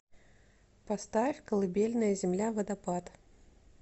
поставь колыбельная земля водопад